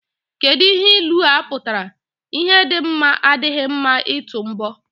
Kedụ ihe ilua pụtara? Ihu dị mma adịghị mma ịtụ mbọ.